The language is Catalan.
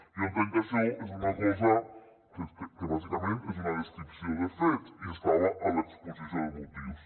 jo entenc que això és una cosa que bàsicament és una descripció de fets i estava a l’exposició de motius